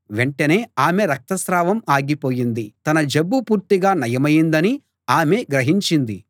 వెంటనే ఆమె రక్తస్రావం ఆగిపోయింది తన జబ్బు పూర్తిగా నయమైందని ఆమె గ్రహించింది